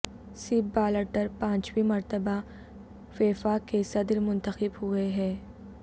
سیپ Blatter پانچویں مرتبہ FIFA کے صدر منتخب ہوئے ہیں